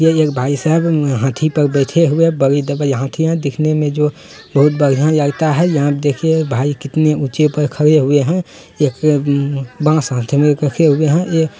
यह एक भाई साहब हाथी पर बैठे हुए हाथी है दिखने में जो बहोत बढ़िया लगता है यहाँ पे देखिए भाई कितने ऊंचे पर खड़े हुए है एक अ बांस हाथ में एक रखे हुऐ हैं ए --